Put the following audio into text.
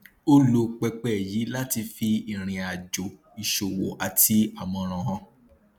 ó lò pẹpẹ yìí láti fi irìnàjò ìṣòwò àti àmòràn hàn